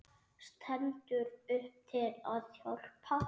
Stendur upp til að hjálpa.